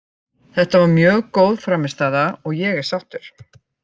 Þetta var mjög góð frammistaða og ég er sáttur.